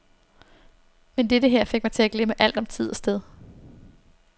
Men dette her fik mig til at glemme alt om tid og sted.